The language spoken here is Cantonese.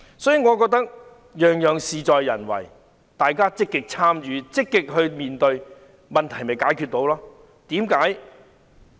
所以，我認為只是事在人為，大家積極參與、積極面對，問題便得以解決。